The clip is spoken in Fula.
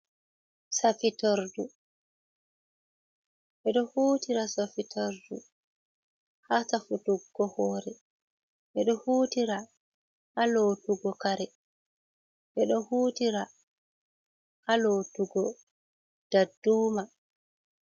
"Safirtudu"o hutira sofitardu ha safutugo hore edo hutira ha lotugo kare edo hutira ha lotugo dadduma.